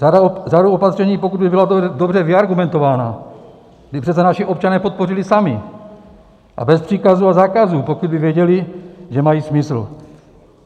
Řadu opatření, pokud by byla dobře vyargumentovaná, by přece naši občané podpořili sami a bez příkazů a zákazů, pokud by věděli, že mají smysl.